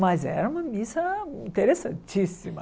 Mas era uma missa interessantíssima.